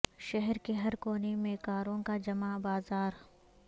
شہر کے ہر کونے میں کاروں کا جمعہ بازار